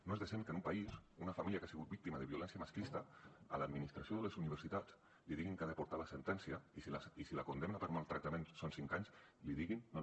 no és decent que en un país una família que ha sigut víctima de violència masclista a l’administració de les universitats li diguin que ha de portar la sentència i si la condemna per maltractaments són cinc anys li diguin no no